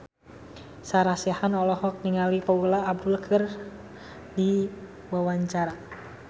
Sarah Sechan olohok ningali Paula Abdul keur diwawancara